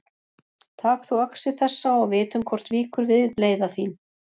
Tak þú öxi þessa og vitum hvort víkur við bleyða þín.